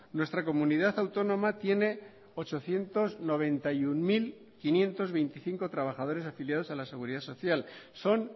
nuestra comunidad autónoma tiene ochocientos noventa y uno mil quinientos veinticinco trabajadores afiliados a la seguridad social son